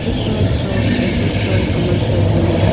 this image shows a two storey commercial building.